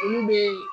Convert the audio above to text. Olu bɛ